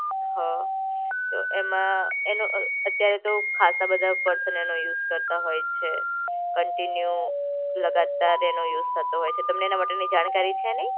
હ તો એમાં એનું અ અત્યારે તો ખાસા બધા પર્સન એનું યુઝ કરતા હોય છે. કન્ટિન્યુ, લગાતાર એનો યુઝ થતો હોય છે, તમને એના માટેની જાણકારી છે નઈ?